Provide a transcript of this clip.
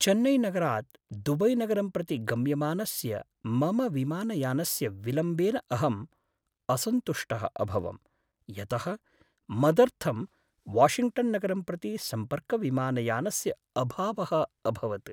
चेन्नैनगरात् दुबैनगरं प्रति गम्यमानस्य मम विमानयानस्य विलम्बेन अहं असन्तुष्टः अभवं यतः मदर्थं वाशिङ्ग्टन्नगरं प्रति सम्पर्कविमानयानस्य अभावः अभवत्।